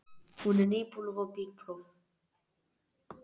Hún er nýbúin að fá bílpróf.